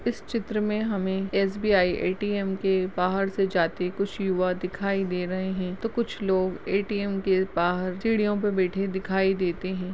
इस चित्र मे हमे एस.बी.आई ए.टी.ए.म के बाहर से जाते कुछ युवा दिखाई दे रहे हैं तो कुछ लोग ए.टी.एम. के बाहर सीढ़ियों पे बैठे दिखाई देते हैं ।